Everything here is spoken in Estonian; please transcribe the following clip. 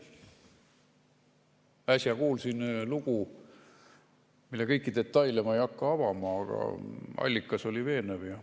Äsja kuulsin lugu, mille kõiki detaile ma ei hakka avama, aga allikas oli veenev.